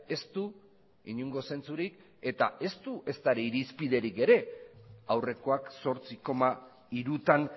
ez du inongo zentzurik eta ez du ezta ere irizpiderik ere aurrekoak zortzi koma hirutan